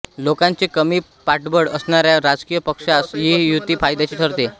लोकांचे कमी पाठबळ असणाऱ्या राजकीय पक्षास ही युती फायद्याची ठरते